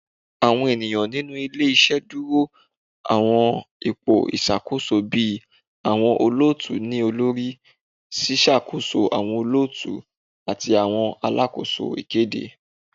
Awọn eniyan ninu ile-iṣẹ duro awọn ipo iṣakoso bii awọn olootu-ni-olori, ṣiṣakoso awọn olootu, ati awọn alakoso ikede